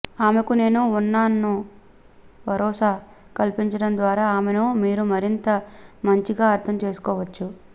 ఆమెకు నేను ఉన్నాన్న భరోసా కల్పించడం ద్వారా ఆమెను మీరు మరింత మంచిగా అర్ధం చేసుకోవచ్చు